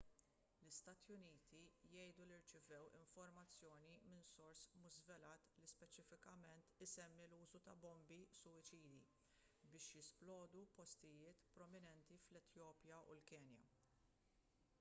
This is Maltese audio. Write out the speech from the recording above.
l-istati uniti jgħidu li rċevew informazzjoni minn sors mhux żvelat li speċifikament issemmi l-użu ta' bombi suwiċidi biex jisplodu postijiet prominenti fl-etjopja u l-kenja